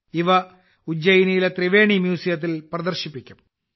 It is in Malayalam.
ഇവ ഉജ്ജയിനിലെ ത്രിവേണി മ്യൂസിയത്തിൽ പ്രദർശിപ്പിക്കും